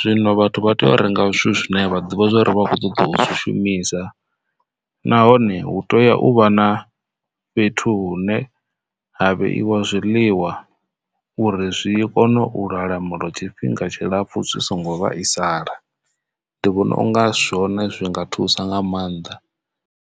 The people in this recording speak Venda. Zwino vhathu vha tea u renga zwithu zwine vha ḓovha vha kho ṱoḓa u zwi shumisa nahone hu teya uvha na fhethu hune ha vheiwa zwiḽiwa uri zwi kone u lwala moḽo tshifhinga tshilapfu zwi songo vhaisala ndi vhona unga zwone zwi nga thusa nga maanḓa.